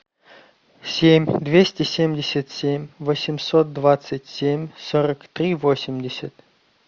семь двести семьдесят семь восемьсот двадцать семь сорок три восемьдесят